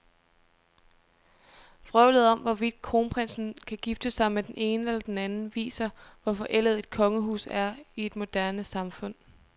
Vrøvlet om, hvorvidt kronprinsen kan gifte sig med den ene eller den anden, viser, hvor forældet et kongehus er i et moderne samfund.